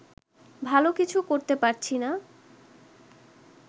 ভালো কিছু করতে পারছি না